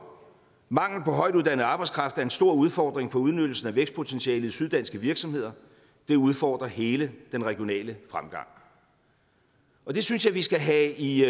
mangel på højtuddannet arbejdskraft er en stor udfordring for udnyttelsen af vækstpotentialet i syv danske virksomheder det udfordrer hele den regionale fremgang det synes jeg vi skal have i